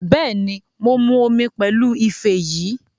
Bẹ́ẹ̀ni, mo mu omi pẹ̀lú ife yìí